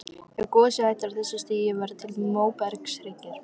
Ef gosið hættir á þessu stigi verða til móbergshryggir.